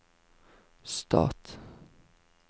stat